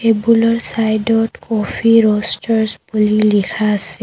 টেবুলৰ চাইদত coffee roasters বুলি লিখা আছে।